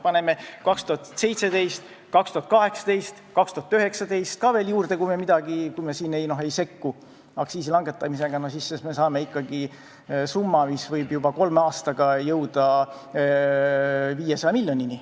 Võtame kokku 2017, 2018 ja 2019: kui me ei sekku aktsiiside langetamisega, siis saame ikkagi summa, mis võib kolme aastaga jõuda 500 miljonini.